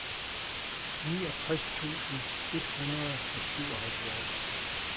niogtres tusind et hundrede og syvoghalvfjerds